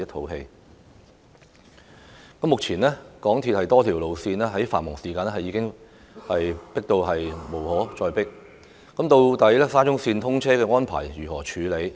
現時在繁忙時段，港鐵公司多條路線已經擠迫之極，無法接載更多乘客，沙中綫通車安排應如何處理？